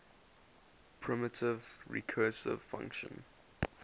primitive recursive function